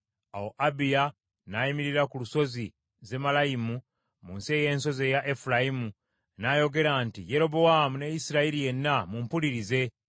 Awo Abiya n’ayimirira ku Lusozi Zemalayimu mu nsi ey’ensozi eya Efulayimu, n’ayogera nti, “Yerobowaamu ne Isirayiri yenna, mumpulirize!